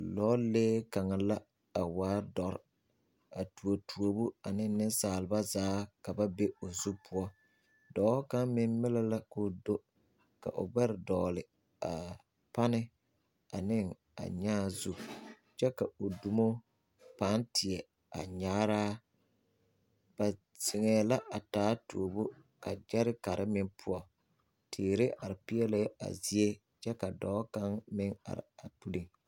Lɔɔlee kaŋa la a waa dɔre a tuo tuobo ka nensaaleba zaa ka ba be o zu poɔ dɔɔ kaŋ meŋ melɛ la ka o do ka o gbɛre dɔgle a o pane ane a nyaa zu kyɛ ka o dumo pãã teɛ a anyaaraa ba zeŋɛɛ la a taa tuobo ka kyɛrekare meŋ poɔ teere are peɛlɛɛ a zie kyɛ ka dɔɔ kaŋa meŋ are a puliŋ.